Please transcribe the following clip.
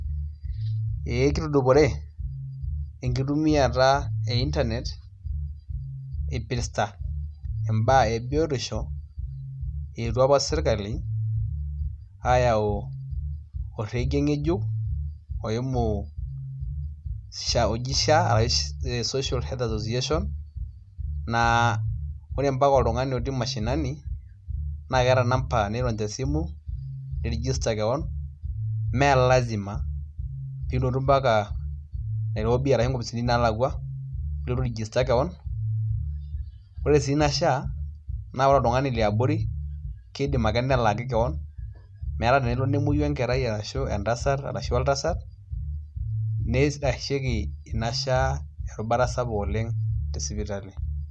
Ee kitudupore enkitumiata e internet ,epirta mbaa ebiotisho ewuo apa serkali ayau orege ngejuk oimu sha e social health organisation naa ore ambaka oltungani otii mashinani na keeta namba nirony tesimu ni register kewon melasima pilotu mbaka nairobi nkopisini nalakwa pilotu ai register kewon ore si ina sha ore oltungani leabori kidim ake nelaaki kewon metaa tenelo nemoyu enkerai ashu entasat ashi oltasat neitashieki ina sha erubata sapuk oleng te sipitali.